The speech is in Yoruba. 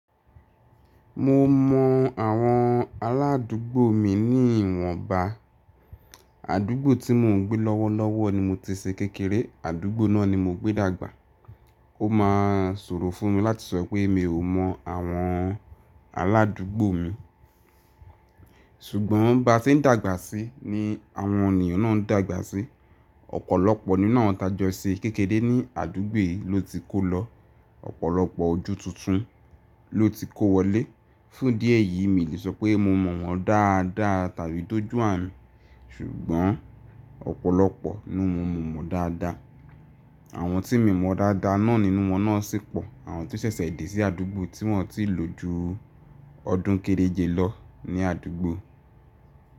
Mo mọ àwọn aládúgbò mi ní ìwọ̀nba. Àdúgbò tí mò ń gbé lọ́wọ́lọ́wọ́ ni mo ti ṣe kékeré, àdúgbò náà ni mo gbé dàgbà. Ó máa sòro fún mi láti sọ pé mi ò mọ àwọn aládúgbò mi. Ṣùgbọ́n ba tí ń dàgbà síi ní àwọn ènìyàn náà ń dàgbà síi, ọ̀pọ̀lọpọ̀ nínú wọn tá jọ́ ṣe kékeré ní àdúgbò yí ló ti kó lọ, ọ̀pọ̀lọpọ̀ ojú tuntun ló ti kó wọlé. Fún dí èyìí mi lè sọ pé mo mọ̀ wọ́n dáadáa tàbí dójú àánú. Ṣùgbọ́n ọ̀pọ̀lọpọ̀ nínú wọn mo mọ̀ dáadáa. Àwọn tí mi mọ̀ dáadáa náà nínú wọn náà sì pọ̀ àwọn tó ṣẹ̀ṣẹ̀ dé sí àdúgbò tí wọ́n ò tiì lò ju ọdún kéréje lọ ní àdúgbò.